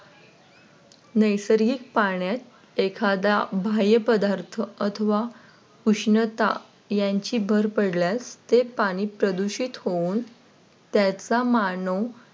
नैसर्गिक पाण्यात एखादा बाह्य पदार्थ अथवा उष्णता यांची भर पडल्यास ते पाणी प्रदूषित होऊन त्याचा मानव